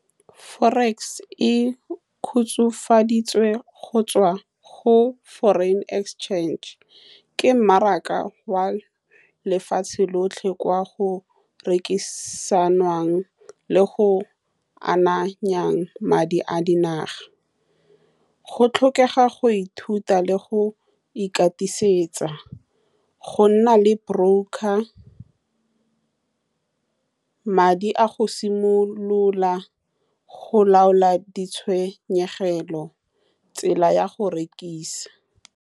Forex e kgotsofaditswe go tswa go foreign exchange ke mmaraka wa lefatshe lotlhe. Kwa go rekisanwang le go ananya madi a dinaga. Go tlhokega go ithuta le go ikatisetsa go nna le brocker gore madi a go simolola, go laola di tshenyegelo tsela ya go rekisa.